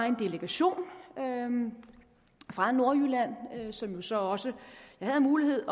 en delegation fra nordjylland som jeg så også havde mulighed